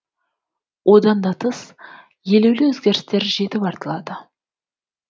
одан да тыс елеулі өзгерістер жетіп артылады